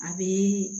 A bɛ